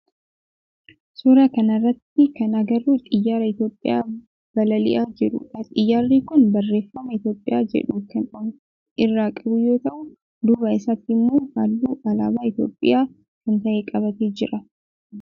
Suuraa kana irratti kan agarru xiyyaara Itiyoophiyaa balali'aa jirudha. Xiyyaarri kun barreeffama Itiyoophiyaa jedhu kan of irraa qabu yoo ta'u duuba isaatii immoo halluu alaabaa Itiyoophiyaa kan ta'e qabatee jira.